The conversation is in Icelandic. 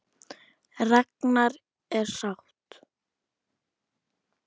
Ragna er sátt.